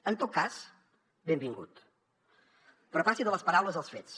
en tot cas benvingut però passi de les paraules als fets